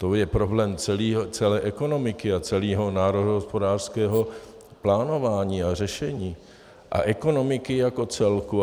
To je problém celé ekonomiky a celého národohospodářského plánování a řešení a ekonomiky jako celku.